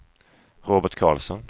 Robert Carlsson